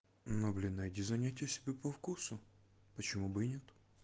ну блин найди занятие себе по вкусу почему бы и нет